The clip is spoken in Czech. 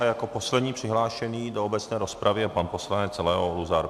A jako poslední přihlášený do obecné rozpravy je pan poslanec Leo Luzar.